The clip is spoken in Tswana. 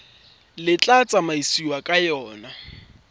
le tla tsamaisiwang ka yona